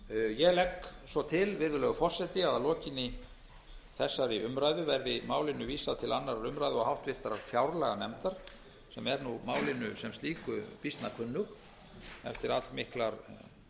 ég legg svo til virðulegur forseti að að lokinni þessari umræðu verði málinu vísað til annarrar umræðu og háttvirtrar fjárlaganefndar sem er málinu sem slíku býsna kunnug eftir allmiklar setur